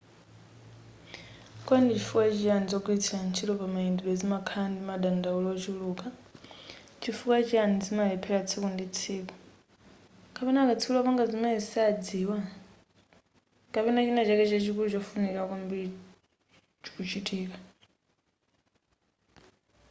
kodi ndi chifukwa chiyani zogwiritsa ntchito pamayendedwe zimakhala ndi madandaulo ochuluka chifukwa chiyani zimalephera tsiku ndi tsiku kapena akatswiri opanga zimenezi sadziwa kapena china chake chachikulu chofunikira kwambiri chikuchitika